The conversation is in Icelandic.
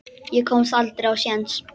Ég komst aldrei á séns.